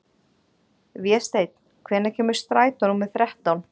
Vésteinn, hvenær kemur strætó númer þrettán?